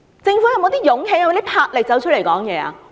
政府是否有勇氣和魄力出來發聲？